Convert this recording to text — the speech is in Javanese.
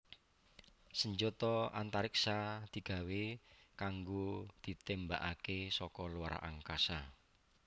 Sanjata antariksa digawé kanggo ditémbakaké saka luar angkasa